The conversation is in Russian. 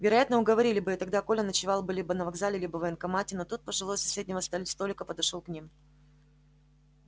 вероятно уговорили бы и тогда коля ночевал бы либо на вокзале либо в военкомате но тут пожилой с соседнего ста столика подошёл к ним